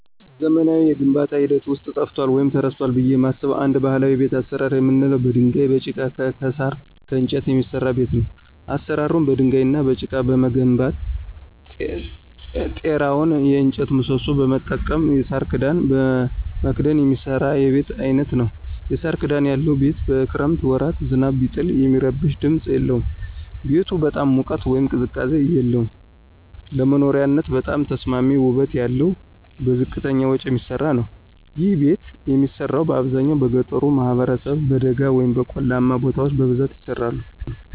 በዘመናዊ የግንባታ ሂደት ውስጥ ጠፍቷል ወይም ተረስቷል ብየ የማስበው አንድ ባህላዊ የቤት አሰራር የምንለው በድንጋይ፣ በጭቃ፣ ከሳር፣ ከእንጨት የሚሰራ ቤት ነው። አሰራሩም በድንጋይ እና በጭቃ በመገንባት ጤራውን የእጨት ምሰሶዎች በመጠቀም የሳር ክዳን በመክደን የሚሰራ የቤት አይነት ነዉ። የሳር ክዳን ያለው ቤት በክረምት ወራት ዝናብ ቢጥል የሚረብሽ ድምፅ የለውም። ቤቱ በጣም ሙቀት ወይም ቅዝቃዜ የለውም። ለመኖሪያነት በጣም ተስማሚ ውበት ያለው በዝቅተኛ ወጭ የሚሰራ ነዉ። ይህ ቤት የሚሰራው በአብዛኛው በገጠሩ ማህበረሰብ በደጋ ወይም በቆላማ ቦታዎች በብዛት ይሰራሉ።